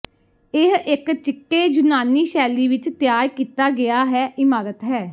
ਇਹ ਇਕ ਚਿੱਟੇ ਯੂਨਾਨੀ ਸ਼ੈਲੀ ਵਿਚ ਤਿਆਰ ਕੀਤਾ ਗਿਆ ਹੈ ਇਮਾਰਤ ਹੈ